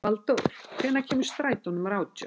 Valdór, hvenær kemur strætó númer átján?